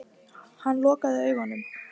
Hann lokaði augunum.